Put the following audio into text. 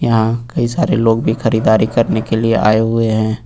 यहां कई सारे लोग भी खरीदारी करने के लिए आए हुए हैं।